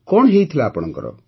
କଣ ହୋଇଥିଲା ଆପଣଙ୍କର